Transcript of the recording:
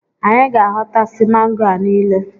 Anyị ga-ahọta si mango a niile